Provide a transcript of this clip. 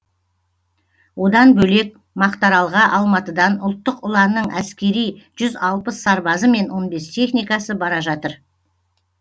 одан бөлек мақтааралға алматыдан ұлттық ұланның әскери жүз алпыс сарбазы мен он бес техникасы бара жатыр